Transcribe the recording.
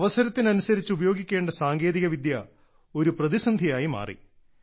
അവസരത്തിനനുസരിച്ചു ഉപയോഗിക്കേണ്ട സാങ്കേതികവിദ്യ ഒരു പ്രതിസന്ധിയായി മാറി